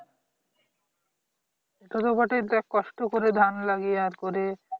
সেটা তো বটেই দেখ কষ্ট করে ধান লাগিয়ে আর করে